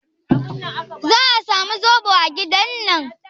Za a samu zoɓo a gidan nan?